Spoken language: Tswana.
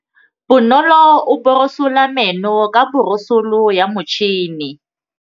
Bonolô o borosola meno ka borosolo ya motšhine.